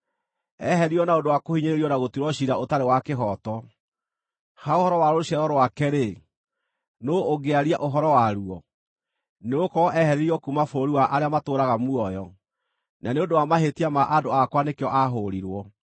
Eeheririo na ũndũ wa kũhinyĩrĩrio na gũtuĩrwo ciira ũtarĩ wa kĩhooto. Ha ũhoro wa rũciaro rwake-rĩ, nũũ ũngĩaria ũhoro waruo? Nĩgũkorwo eeheririo kuuma bũrũri wa arĩa matũũraga muoyo; na nĩ ũndũ wa mahĩtia ma andũ akwa nĩkĩo aahũũrirwo.